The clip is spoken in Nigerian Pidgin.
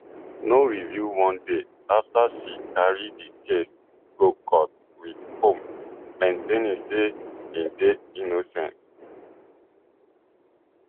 no reveal one day afta she carry di case go court wit combs maintaining say im dey innocence